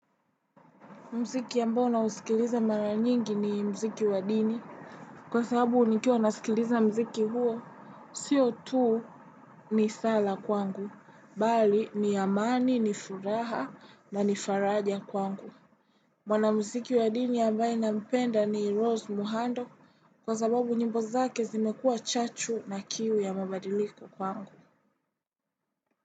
Mziki ambao na usikiliza mara nyingi ni mziki wa dini. Kwa sababu nikiwa nasikiliza mziki huo, sio tu ni sala kwangu. Bali ni amani ni furaha na faraja kwangu. Mwanamziki wa dini ambaye nampenda ni Rose Muhando kwa sababu nyimbu zake zimekuwa chachu na kiwi ya mabadiliko kwangu.